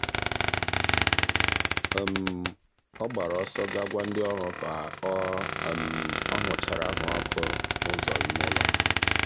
ọ gbara ọsọ ga gwa ndị ọrụ ka ọ ọ hụchara anwụrụ ọkụ n'ụzọ ime ụlọ.